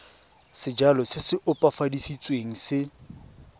sejalo se se opafaditsweng se